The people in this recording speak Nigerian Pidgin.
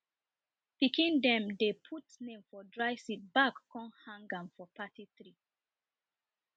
pikin dem dey put name for dry seed back come hang am for party tree